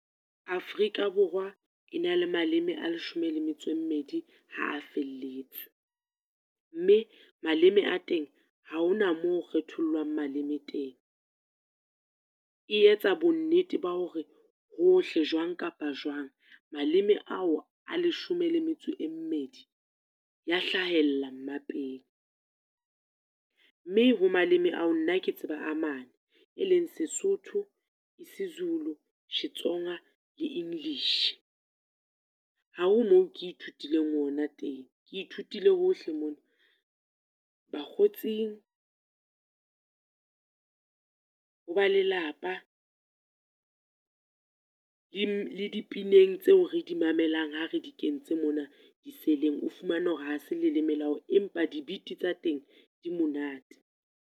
Afrika Borwa e na le maleme a leshome le metso e mmedi ha a felletse. Mme maleme a teng ha hona mo ho kgethollwang maleme teng. E etsa bonnete ba hore hohle jwang kapa jwang, maleme ao a leshome le metso e mmedi, ya hlahella mmapeng. Mme ho maleme ao nna ke tseba a mane, e leng Sesotho, Isizulu, Xitsonga le English. Ha ho mo ke ithutileng ona teng, ke ithutile hohle mona. Bakgotsing, ho ba lelapa, di le dipineng tseo re di mamelang ha re di kentse mona di cell-eng. O fumane hore ha se leleme la hao empa di-beat tsa teng, di monate.